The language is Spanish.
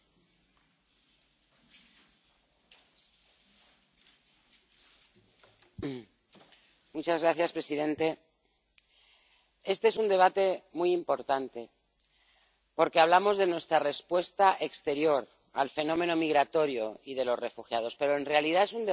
Señor presidente. Este es un debate muy importante porque hablamos de nuestra respuesta exterior al fenómeno migratorio y de los refugiados, pero en realidad es un debate que habla mucho de nosotros,